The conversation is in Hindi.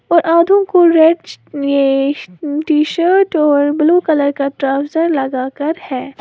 और आधों को रेड ये टी शर्ट और ब्लू कलर का ट्राउजर लगा कर है।